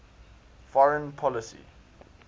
foreign policy